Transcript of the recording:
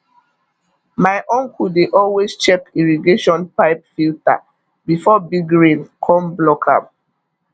my uncle dey always check irrigation pipe filter before big rain come block am